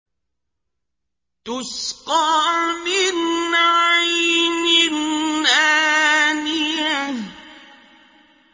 تُسْقَىٰ مِنْ عَيْنٍ آنِيَةٍ